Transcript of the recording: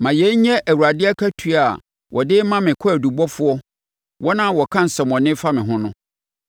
Ma yei nyɛ Awurade akatua a ɔde ma me kwaadubɔfoɔ, wɔn a wɔka nsɛmmɔne fa me ho no.